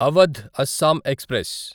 Awadh Assam express